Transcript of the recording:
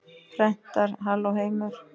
Prentar Halló, heimur!